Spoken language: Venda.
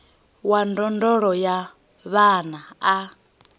wa ndondolo ya vhana a